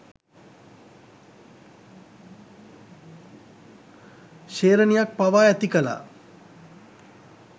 ශේ්‍රණියක් පවා ඇති කළා.